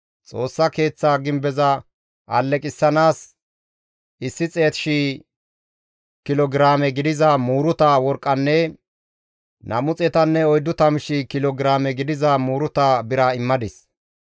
Xoossa Keeththa gimbeza alleqissanaas 100,000 kilo giraame gidiza muuruta worqqanne 240,000 kilo giraame gidiza muuruta bira immadis.